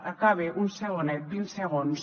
acabe un segonet vint segons